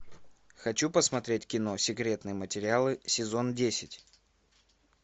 хочу посмотреть кино секретные материалы сезон десять